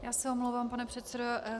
Já se omlouvám, pane předsedo.